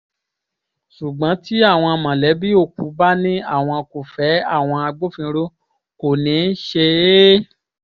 ṣùgbọ́n tí àwọn mọ̀lẹ́bí òkú bá ní àwọn kò fẹ́ àwọn agbófinró kò ní í ṣe é